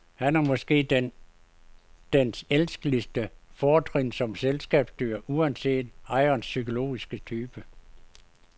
Her er måske dens elskeligste fortrin som selskabsdyr, uanset ejerens psykologiske type.